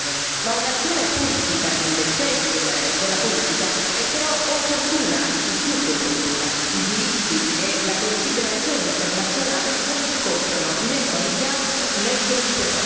Ma un'azione politica nelle sedi della politica è però opportuna, anzi più che opportuna. I diritti e la considerazione internazionale non si comprano, né con il gas né con il petrolio.